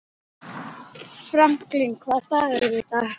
Franklin, hvaða dagur er í dag?